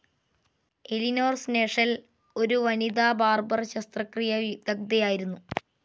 Eleanor Sneshell ഒരു വനിതാബാർബർ ശസ്ത്രക്രിയാവിദഗ്ദ്ധയായിരുന്നു.